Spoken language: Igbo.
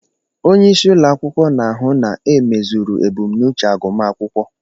Onyeisi ụlọ akwụkwọ na-ahụ na emezuru ebumnuche agụmaakwụkwọ.